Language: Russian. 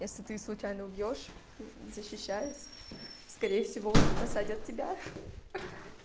если ты случайно убьёшь защищаясь скорее всего посадят тебя